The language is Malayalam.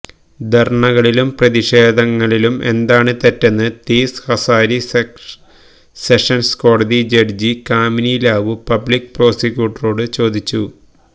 ധര്ണകളിലും പ്രതിഷേധങ്ങളിലും എന്താണ് തെറ്റെന്നും തീസ് ഹസാരി സെഷന്സ് കോടതി ജഡ്ജി കാമിനി ലാവു പബ്ലിക് പ്രോസിക്യൂട്ടറോട് ചോദിച്ചു